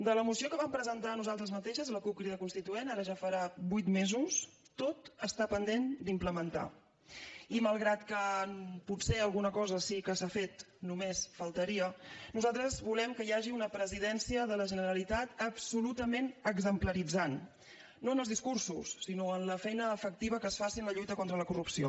de la moció que vam presentar nosaltres mateixes la cup crida constituent ara ja farà vuit mesos tot està pendent d’implementar i malgrat que potser alguna cosa sí que s’ha fet només faltaria nosaltres volem que hi hagi una presidència de la generalitat absolutament exemplaritzant no en els discursos sinó en la feina efectiva que es faci en la lluita contra la corrupció